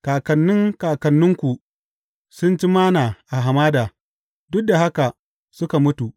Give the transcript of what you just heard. Kakannin kakanninku sun ci Manna a hamada, duk da haka suka mutu.